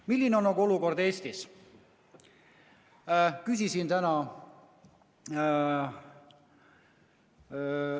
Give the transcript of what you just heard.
Milline on olukord Eestis?